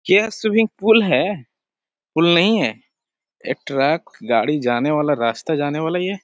क्या swimming pool है। Pool नहीं है एक ट्रक गाड़ी जाने वाला रास्ता जाने वाला ये।